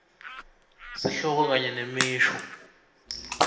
sihloko kanye nemisho